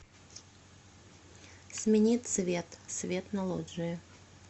смени цвет свет на лоджии